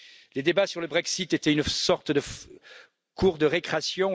Les débats sur le Brexit étaient une sorte de cour de récréation